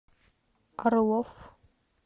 орлов